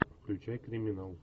включай криминал